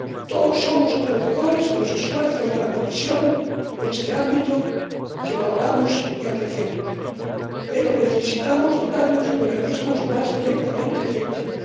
Todos somos conocedores de los esfuerzos de la Comisión en este ámbito —que valoramos y apreciamos—, pero necesitamos dotarnos de mecanismos más directamente efectivos.